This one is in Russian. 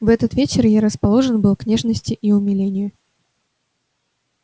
в этот вечер я расположен был к нежности и к умилению